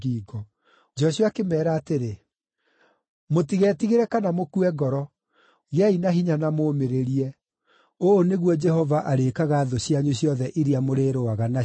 Joshua akĩmeera atĩrĩ, “Mũtigetigĩre kana mũkue ngoro. Gĩai na hinya na mũũmĩrĩrie. Ũũ nĩguo Jehova arĩĩkaga thũ cianyu ciothe iria mũrĩrũaga nacio.”